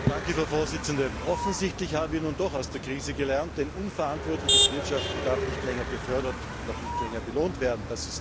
Frau Präsidentin! Offensichtlich haben wir nun doch aus der Krise gelernt, denn unverantwortliches Wirtschaften darf nicht länger gefördert und auch nicht länger belohnt werden.